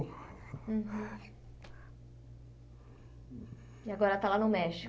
E agora está lá no México.